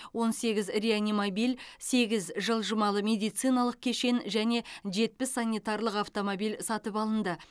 он сегіз реанимобиль сегіз жылжымалы медициналық кешен және жетпіс санитарлық автомобиль сатып алынды